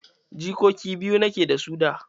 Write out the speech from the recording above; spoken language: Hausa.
Jikoki biyu nike da su da.